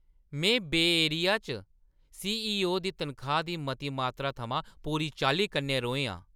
में बेऽ एरिया च सीईओ दी तनखाही दी मती मात्तरा थमां पूरी चाल्ली कन्नै रोहें आं।